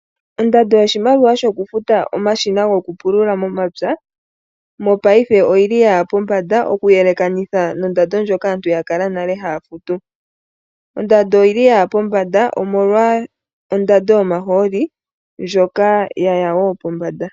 Ondando yoku futa omashina goku pulula mepya, mopaife oyi li yaya pombanda mokuyelekanitha nondando ndjoka aantu ya kala haya futu. Ondando oyili yaya pombanda omolwa ondando yomahooli ndjoka yaya wo pombanda.